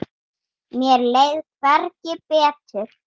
Mér leið hvergi betur.